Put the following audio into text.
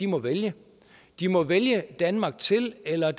må vælge de må vælge danmark til eller